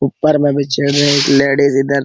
ऊपर बगीचे मे एक लेडिस इधर--